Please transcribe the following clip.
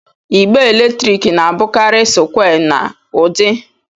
igbe eletrik na-abụkarị sụkwé na udi